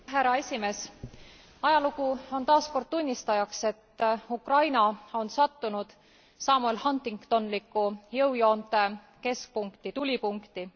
Härra esimees, ajalugu on taas kord tunnistajaks, et Ukraina on sattunud Samuel Huntingtonlikku jõujoonte keskpunkti tulipunkti.